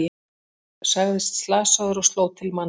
Sagðist slasaður og sló til manns